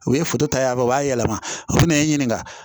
U ye ta yan nɔ u b'a yɛlɛma o fɛnɛ ye n ɲininka